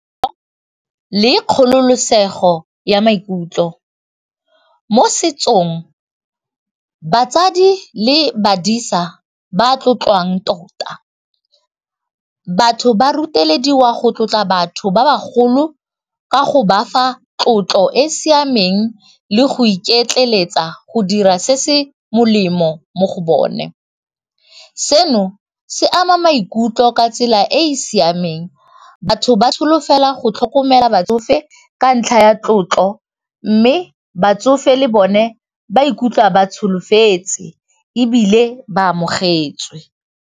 Le kgololosego ya maikutlo mo setsong batsadi le badisa ba tlotlwang tota batho ba rutelediwa go tlotla batho ba bagolo ka go ba fa tlotlo e e siameng le go iketleletsa go dira se se molemo mo go bone, seno se ama maikutlo ka tsela e e siameng batho ba solofela go tlhokomela batsofe ka ntlha ya tlotlo mme batsofe le bone ba ikutlwa ba tsholofetse ebile ba amogetswe.